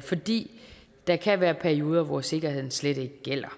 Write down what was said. fordi der kan være perioder hvor sikkerheden slet ikke gælder